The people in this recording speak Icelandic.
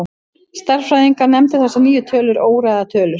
Stærðfræðingar nefndu þessar nýju tölur óræðar tölur.